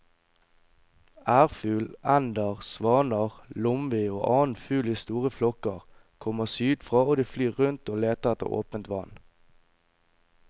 Ærfugl, ender, svaner, lomvi og annen fugl i store flokker kommer sydfra og de flyr rundt og leter etter åpent vann.